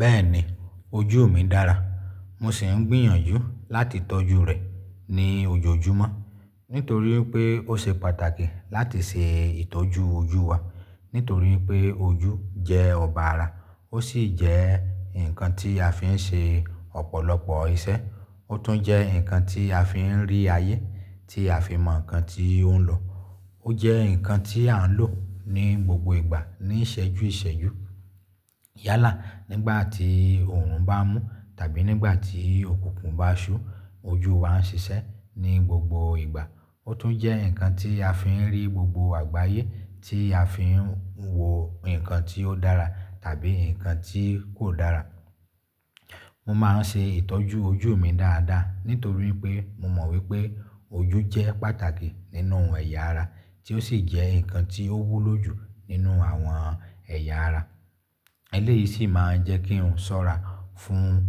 Bẹ́ẹ̀ni ojú mi dára, mo sì ń gbìyànjú láti tọ́jú rẹ̀ ní ojoojúmọ́ nítorí pé ó ṣe pàtàkì láti ṣe ìtọ́jú ojú wa. Nítorí pé ojú jẹ́ ọba ara, ó sì jẹ́ nǹkan tí a fi ń ṣe ọ̀pọ̀lọpọ̀ iṣẹ́, ó tún jẹ́ nǹkan tí a fi ń rí ayé tí a fi mọ nǹkan tí ó ń lọ. Ó jẹ́ nǹkan tí à ń lò ní gbogbo ìgbà ní ìṣẹ́jú ìṣẹ́jú. Yálà nígbà tí oòrùn bá mú tàbí nígbà tí òkùnkùn bá ṣú, ojú wa ń ṣiṣẹ́ ní gbogbo ìgbà. Ó tún jẹ́ nǹkan tí a fi ń rí gbogbo àgbáyé tí a fi ń wo nǹkan tí ó dára tàbí nǹkan tí kò dára. Mo máa ń ṣe ìtọ́jú ojú mi dáadáa nítorí pé mo mọ̀ wípé ojú jẹ́ pàtàkì nínú ẹ̀yà ara tí ó sì jẹ́ nǹkan tí ó wúlò jù nínú àwọn ẹ̀yà ara. Eléyìí sì máa ń jẹ́ kí n sọ́ra fún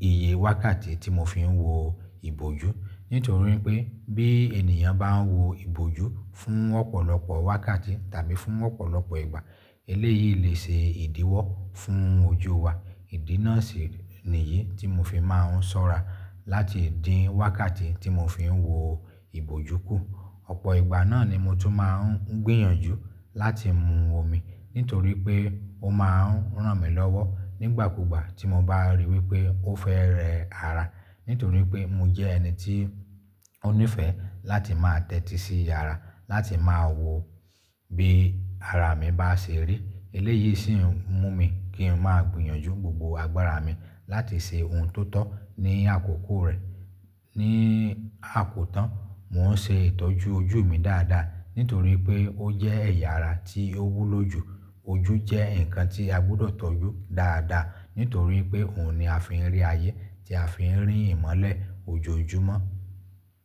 iye wákàtí tí mo fi ń wo ìbòjú. Nítorí pé bí ènìyàn bá ń wo ìbòjú fún ọ̀pọ̀lọpọ̀ wákàtí tàbí fún ọ̀pọ̀lọpọ̀ ìgbà, eléyìí lè ṣe ìdíwọ́ fún ojú wa. Ìdí náà sì nìyí tí mo fi máa ń sọ́ra láti dín wákàtí tí mo fi ń wo ìbòjú kù. Ọ̀pọ̀ ìgbà náà ni mo tún máa ń gbìyànjú láti mu omi nítorí pé ó máa ń ràn mí lọ́wọ́ nígbàkúgbà tí mo bá ríi wípé ó fẹ́ rẹ ara. Nítorí pé mo jẹ́ ẹni tí ó nífẹ́ láti máa tẹ́tí sí ara láti máa wo bí ara mi bá ṣe rí. Eléyìí sì ń mú mi kí n máa gbìyànjú gbogbo agbára mi láti ṣe ohun tó tọ́ ní àkókò rẹ̀. Ni àkótán mo ń ṣe ìtọ́jú ojú mi dáadáa nítorí pé ó jẹ́ ẹ̀yà ara tí ó wúlò jù. Ojú jẹ́ nǹkan tí a gbọ́dọ̀ tọ́jú dáadáa nítorí pé òun ni a fi ń rí ayé tí a fi ń rí ìmọ́lẹ̀ ojoojúmọ́.